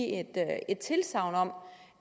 tilsagn om